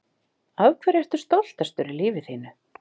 Af hverju ertu stoltastur í lífi þínu?